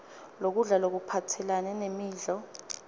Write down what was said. lokudla lokuphathelane nemidlo